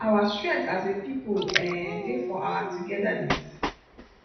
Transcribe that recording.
our strength as a pipo um dey for our togetherness